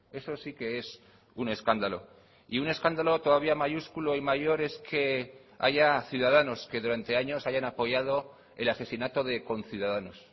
eso sí que es un escándalo y un escándalo todavía mayúsculo y mayor es que haya ciudadanos que durante años hayan apoyado el asesinato de conciudadanos